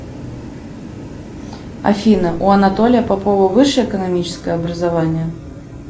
афина у анатолия попова высшее экономическое образование